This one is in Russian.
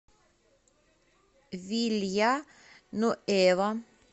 вилья нуэва